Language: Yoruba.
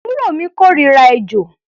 Àbúrò mi kórira ejò.